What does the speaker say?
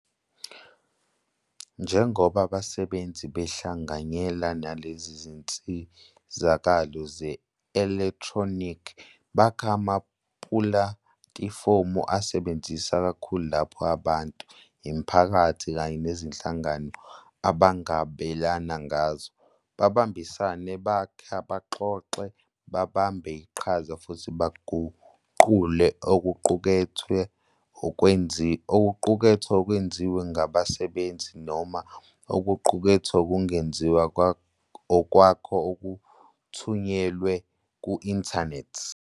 Njengoba abasebenzisi behlanganyela nalezi zinsizakalo ze-elekthronikhi, bakha amapulatifomu asebenzisana kakhulu lapho abantu, imiphakathi, kanye nezinhlangano abangabelana ngazo, babambisane, bakhe, baxoxe, babambe iqhaza, futhi baguqule okuqukethwe okwenziwe ngabasebenzisi noma okuqukethwe okuzenzela okwakho okuthunyelwe ku-inthanethi.